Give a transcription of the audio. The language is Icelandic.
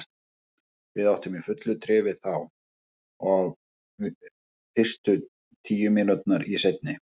Við áttum í fullu tré við þá, og fyrstu tíu mínúturnar í seinni.